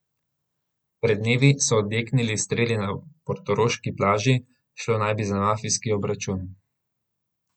Pred dnevi so odjeknili streli na portoroški plaži, šlo naj bi za mafijski obračun.